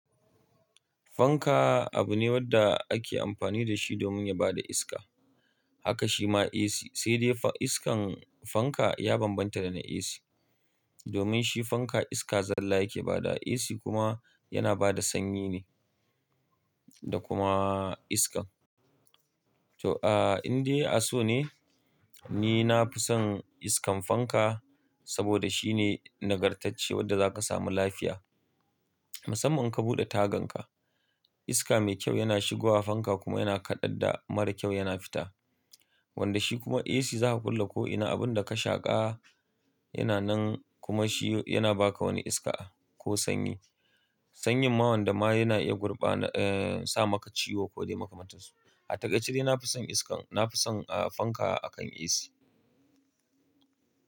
Fanka abu ne wanda ake amfani da shi domin ya bada iska haka shi ma AC sai dai iskan fanka ya bambanta da na AC. Domin shi fanka iska zalla yake badawa AC kuma yana bada sanyi ne da kuma iska. To, ah, in dai asu ne, ni na fi son iskan fanka saboda shine nagartacce wadda za ka samu lafiya. Musamman in ka buɗe tagan ka, iska mai kyau yana shigowa fanka kuma yana kaɗar da mara kyau yana fita. Wanda shi kuma AC za a kulle ko'ina abun da ka shaƙa yana nan kuma shi yana ba ka wani iska ko sanyi. Sanyin ma wanda ma yana iya gurbana, sa maka ciwo ko dai maka man tansu. A takaice dai na fi son iskan, na fi son, fanka akan AC.